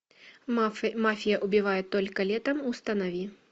мафия убивает только летом установи